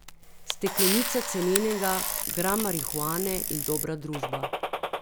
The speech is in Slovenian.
Steklenica cenenega, gram marihuane in dobra družba.